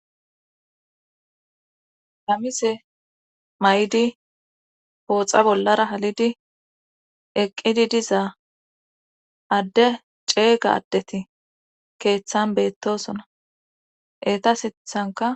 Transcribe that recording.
Hamise may'di pooxa bollara halidi eqqidi dizaa adde ceega addeti keeththan beettosona eta sithanka.